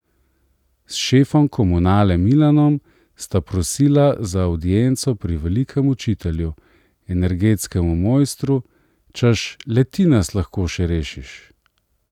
S šefom Komunale Milanom sta prosila za avdienco pri velikem učitelju, energetskem mojstru, češ, le ti nas lahko še rešiš.